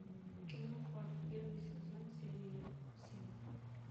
кино хор первый сезон серия семь